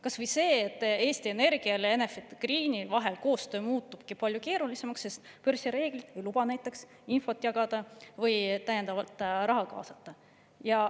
Kas või see, et Eesti Energia ja Enefit Greeni vaheline koostöö muutubki palju keerulisemaks, sest börsireeglid ei luba näiteks infot jagada või täiendavat raha kaasata.